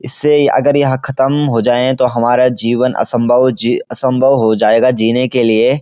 इससे अगर यहाँ ख़त्म हो जाए तो हमारा जीवन असंभव जी असंभव हो जायेगा जीने के लिए।